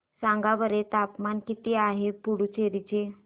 सांगा बरं तापमान किती आहे पुडुचेरी चे